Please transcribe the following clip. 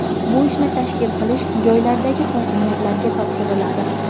Bu ishni tashkil qilish joylardagi hokimiyatlarga topshiriladi.